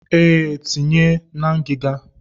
Ee, tinye ya na ngiga.